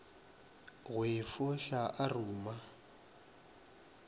go e fohla a ruma